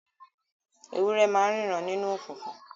Ewúrẹ́ ma n ríran nínú okùnkùn